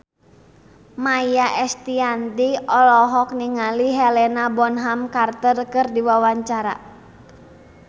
Maia Estianty olohok ningali Helena Bonham Carter keur diwawancara